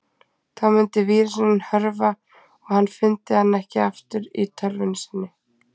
Þá myndi vírusinn hörfa og hann fyndi hann ekki aftur í tölvunni sinni.